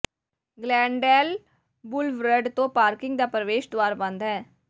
Glendale boulevard ਤੋਂ parking ਦਾ ਪ੍ਰਵੇਸ਼ ਦੁਆਰ ਬੰਦ ਹੈ